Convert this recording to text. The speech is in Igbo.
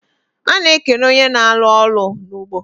A na ekene onye na alu olu na ugbo